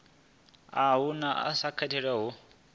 uhu u sa katelwa hu